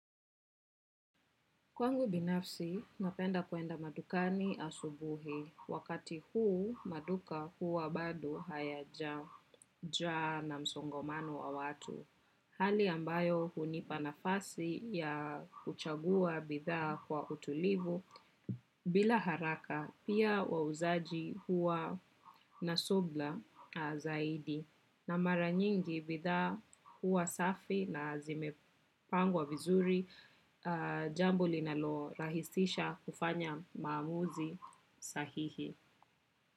Kwangu binafsi napenda kuenda madukani asubuhi. Wakati huu, maduka huwa bad hayaja jaa na msongomano wa watu. Hali ambayo hunipa nafasi ya uchagua bithaa kwa utulivu. Bila haraka, pia wauzaji huwa na sobla zaidi. Na mara nyingi bidhaa huwa safi na zimepangwa vizuri, jambo linalo rahisisha kufanya maamuzi sahihi.